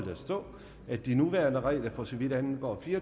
der stå at de nuværende regler for så vidt angår fire